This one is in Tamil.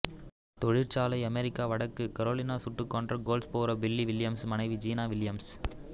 தொழிற்சாலை அமெரிக்கா வடக்கு கரோலினா சுட்டு கொன்ற கோல்ட்ஸ்போரோ பில்லி வில்லியம்ஸ் மனைவி ஜினா வில்லியம்ஸ்